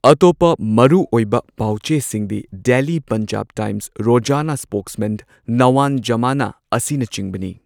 ꯑꯇꯣꯞꯄ ꯃꯔꯨꯑꯣꯏꯕ ꯄꯥꯎ ꯆꯦꯁꯤꯡꯗꯤ ꯗꯦꯏꯂꯤ ꯄꯟꯖꯥꯕ ꯇꯥꯏꯝꯁ, ꯔꯣꯖꯥꯅꯥ ꯁ꯭ꯄꯣꯛꯁꯃꯦꯟ, ꯅꯋꯥꯟ ꯖꯃꯥꯅꯥ ꯑꯁꯤꯅꯆꯤꯡꯕꯅꯤ꯫